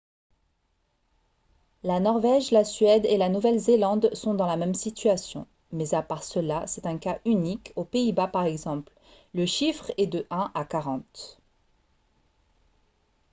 la norvège la suède et la nouvelle-zélande sont dans la même situation mais à part cela c'est un cas unique aux pays-bas par exemple le chiffre est de un à quarante